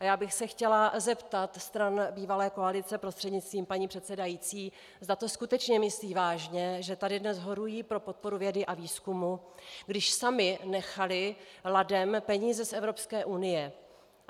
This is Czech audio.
A já bych se chtěla zeptat stran bývalé koalice prostřednictvím paní předsedající, zda to skutečně myslí vážně, že tady dnes horují pro podporu vědy a výzkumu, když sami nechali ladem peníze z Evropské unie.